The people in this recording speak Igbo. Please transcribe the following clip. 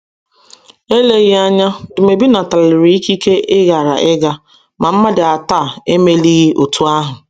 Eleghị anya, Dumebi nataliri ikike ịghara ịga, ma mmadụ atọ a emelighị otú ahụ.